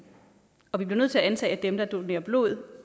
og vi bliver nødt til at antage at dem der donerer blod